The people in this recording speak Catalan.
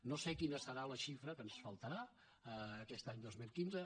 no sé quina serà la xifra que ens faltarà aquest any dos mil quinze